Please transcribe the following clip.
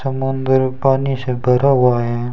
समुद्र पानी से भरा हुआ है।